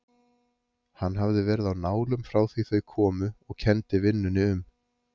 Hann hafði verið á nálum frá því þau komu og kenndi vinnunni um.